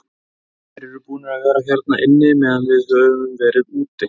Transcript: Þeir eru búnir að vera hérna inni meðan við höfum verið úti.